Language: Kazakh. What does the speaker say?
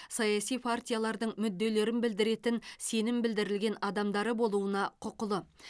саяси партиялардың мүдделерін білдіретін сенім білдірілген адамдары болуына құқылы